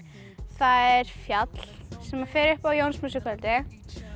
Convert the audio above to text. það er fjall sem maður fer upp á á Jónsmessukvöldi